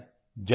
जैसे कि